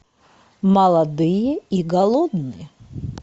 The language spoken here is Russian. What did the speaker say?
молодые и голодные